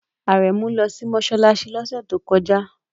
Aremu lọ sí mọ́ṣáláṣí lọ́sẹ̀ tó kọjá